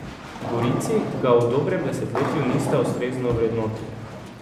Gorici ga v dobrem desetletju nista ustrezno ovrednotili.